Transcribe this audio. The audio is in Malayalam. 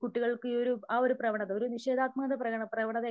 കുട്ടികൾക്ക് ആ ഒരു പ്രവണത